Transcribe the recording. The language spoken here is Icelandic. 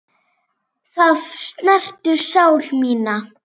Það snertir sál mína.